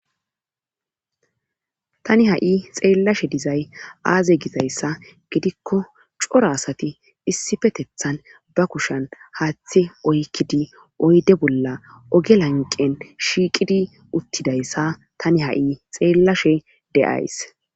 Tani ha'i x eel lashes dizay aaze gizayssa gidikko cora asati issifetethan ba kushan haaththi oykkidi oyde bolla oge lanqen shiiqidi uttidayssa tani ha'i xeellashe de'ays.